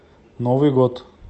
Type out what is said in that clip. новый год